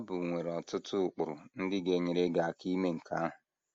Bible nwere ọtụtụ ụkpụrụ ndị ga - enyere gị aka ime nke ahụ.